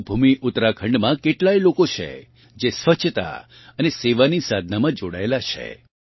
દેવભૂમિ ઉત્તરાખંડમાં કેટલાય લોકો છે જે સ્વચ્છતા અને સેવાની સાધનામાં જોડાયેલાં છે